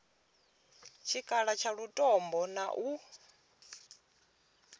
tshikhala tsha lutombo na u